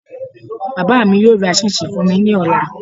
Bàbá mi yóò ra ṣíínṣin fún mi ní ọ̀la